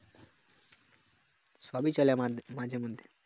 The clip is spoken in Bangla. সবই চলে মাঝেমধ্যে